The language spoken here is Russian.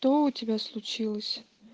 то у тебя случилось